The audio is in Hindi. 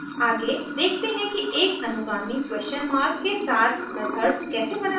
आगे देखते हैं कि एक अनुगामी question मार्क के साथ मेथड्स कैसे बनाते हैं